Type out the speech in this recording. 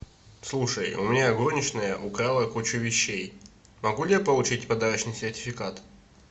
слушай у меня горничная украла кучу вещей могу ли я получить подарочный сертификат